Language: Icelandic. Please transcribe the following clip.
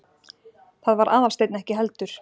Það var Aðalsteinn ekki heldur.